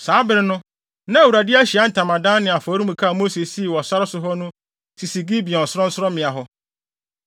Saa bere no na Awurade Ahyiae Ntamadan ne afɔremuka a Mose sii wɔ sare so hɔ no sisi Gibeon sorɔnsorɔmmea hɔ.